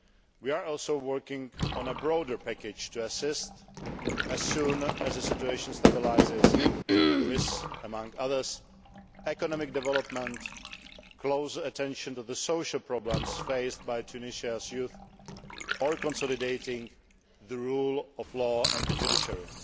We are also working on a broader package to assist as soon as the situation stabilises with, inter alia, economic development, close attention to the social problems faced by Tunisia's youth, and consolidating the rule of law and the judiciary.